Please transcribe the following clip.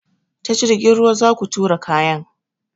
Ta jirgin ruwa zaku turo kayan.